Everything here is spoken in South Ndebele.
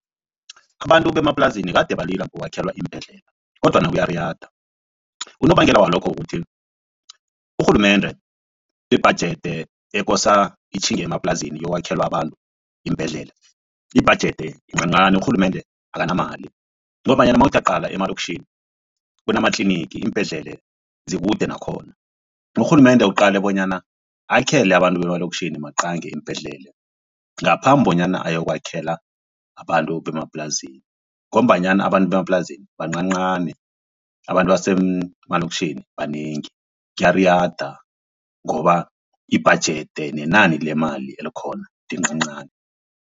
Abantu bemaplasini kade balila ngokwakhelwa iimbhedlela kodwana kuyariyada unobangela walokho kuthi urhulumende ibhajede ekosa itjhinge emaplasini iyokwakhela abantu iimbhedlela ibhajede yincancani urhulumende akanamali ngombanyana nawuthi uyaqala emalokitjhini kunamatlinigi iimbhedlele zikude nakhona. Urhulumende uqale bonyana akhele abantu bemalokitjhini maqange iimbhedlela ngaphambi bonyana ayokwakhela abantu bemaplasini ngombanyana abantu bemaplasini bancancani abantu ebasemalokitjhini banengi kyariyada ngoba ibhajede nenani lemali elikhona lincancani.